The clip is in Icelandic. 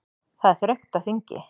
Það er þröngt á þingi